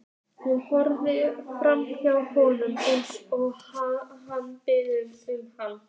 Hún horfir framhjá honum eins og hann biður hana um.